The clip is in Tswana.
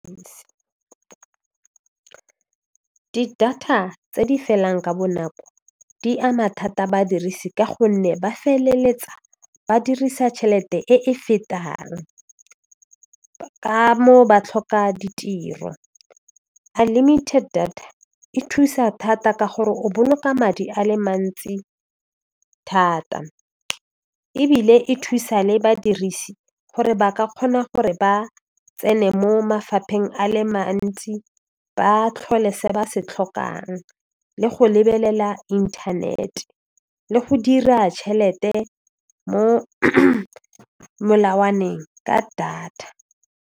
Di data tse di felang ka bonako di ama thata badirisi ka gonne ba feleletsa ba dirisa tšhelete e e fetang ka mo ba tlhoka ditiro unlimited data e thusa thata ka gore o boloka madi a le mantsi thata ebile e thusa le badirisi gore ba ka kgona gore ba tsene mo mafapheng a le mantsi ba tlhole se ba se tlhokang le go lebelela internet le go dira tšhelete mo molawaneng ka data.